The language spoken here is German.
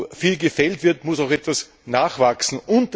Wo viel gefällt wird, muss auch etwas nachwachsen.